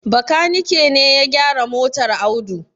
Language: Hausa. Bakanike ne ya gyara motar Audu.